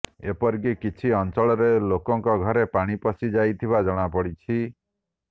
ଏପରିକି କିଛି ଅଞ୍ଚଳରେ ଲୋକଙ୍କ ଘରେ ପାଣି ପଶି ଯାଇଥିବା ଜଣାପଡ଼ିଛି